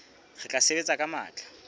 re tla sebetsa ka matla